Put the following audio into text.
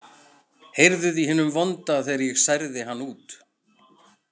Heyrðuð í hinum vonda þegar ég særði hann út?